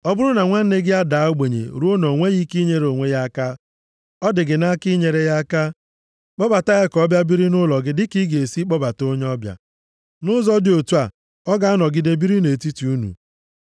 “ ‘Ọ bụrụ na nwanne gị adaa ogbenye ruo na o nweghị ike inyere onwe ya aka, ọ dị gị nʼaka inyere ya aka, kpọbata ya ka ọ bịa biri nʼụlọ gị dịka ị ga-esi kpọbata onye ọbịa. Nʼụzọ dị otu a, ọ ga-anọgide biri nʼetiti unu.